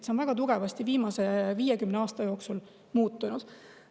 See on väga tugevasti viimase 50 aasta jooksul muutunud.